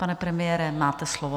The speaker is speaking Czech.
Pane premiére, máte slovo.